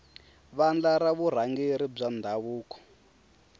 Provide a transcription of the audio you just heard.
vandla ra vurhangeri bya ndhavuko